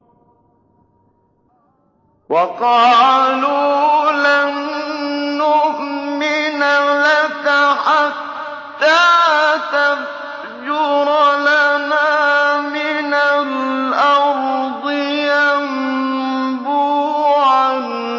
وَقَالُوا لَن نُّؤْمِنَ لَكَ حَتَّىٰ تَفْجُرَ لَنَا مِنَ الْأَرْضِ يَنبُوعًا